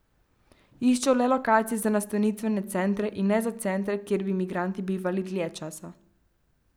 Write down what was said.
Iščejo le lokacije za nastanitvene centre in ne za centre, kjer bi migranti bivali dlje časa.